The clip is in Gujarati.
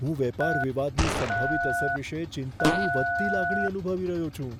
હું વેપાર વિવાદની સંભવિત અસર વિશે ચિંતાની વધતી લાગણી અનુભવી રહ્યો છું.